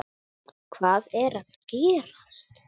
Hvað er að gerast!